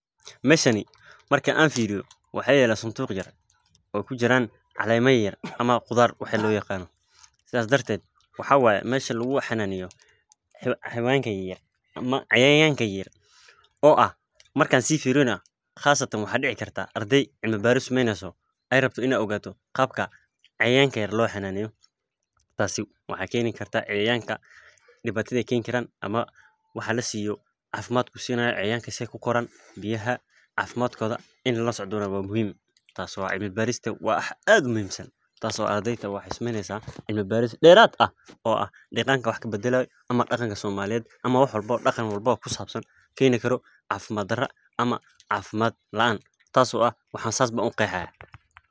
Meeshani marki aan fiiriyo waxaa yaala sanduuq yaryar oo kujiraan caleema yaryar oo laga yaaba inaay kujiraan cayayaanka ama cilmi baaris lagu sameeynayo sida cayayaanka loo daqaleyo ana aay wax ucunaan waxeey keeni kartaa cafimaad xumo ama cafimaad laan saas ayaan uqeexaya.